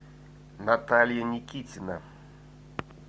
наталья никитина